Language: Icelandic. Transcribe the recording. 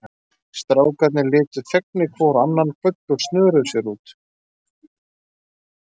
Strákarnir litu fegnir hvor á annan, kvöddu og snöruðu sér út.